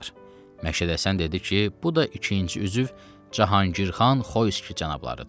Məşədi Həsən dedi ki, bu da ikinci üzv Cahangirxan Xoyski cənablarıdır.